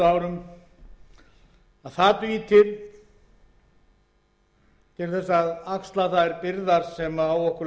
árum þá er mjög vafasamt að það dugi til til að axla þær byrðar sem á okkur